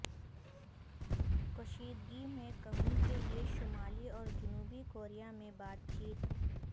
کشیدگی میں کمی کے لیے شمالی اور جنوبی کوریا میں بات چیت